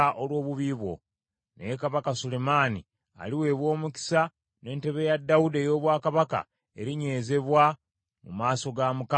Naye kabaka Sulemaani aliweebwa omukisa, ne ntebe ya Dawudi ey’obwakabaka erinywezebwa mu maaso ga Mukama emirembe gyonna.”